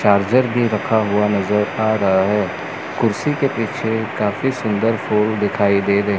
charger भी रखा हुआ नजर आ रहा है कुर्सी के पीछे काफी सुंदर फूल दिखाई दे र--